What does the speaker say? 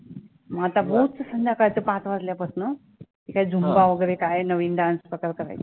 मग आता रोज संध्याकाळचं पाच वाजल्यापासनं ते काय zumba वैगरे काय नवीन dance प्रकार करायची.